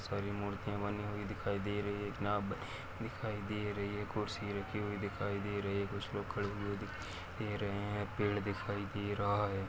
सारी मूर्तिया बनी हुई दिखाई दे रही है एक नाव दिखाई दे रही है खुर्सी रखी हुई दिखाई दे रही है कुछ लोग खड़े हुए दिखाई दे रहे है पड़े दिखाई दे रहा है।